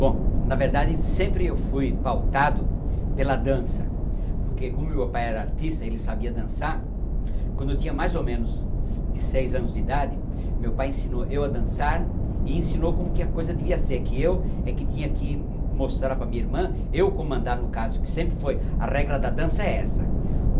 Bom, na verdade, sempre eu fui pautado pela dança, porque como meu pai era artista e ele sabia dançar, quando eu tinha mais ou menos de seis anos de idade, meu pai ensinou eu a dançar e ensinou como que a coisa devia ser, que eu é que tinha que mostrar para minha irmã, eu comandar, no caso, que sempre foi, a regra da dança é essa.